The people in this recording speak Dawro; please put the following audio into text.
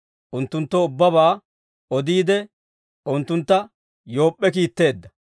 unttunttoo ubbabaa odiide, unttuntta Yoop'p'e kiitteedda.